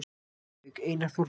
Reykjavík: Einar Þórðarson.